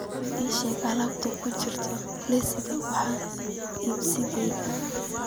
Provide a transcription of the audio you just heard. ii sheeg alaabta ku jirta liiska wax iibsigayga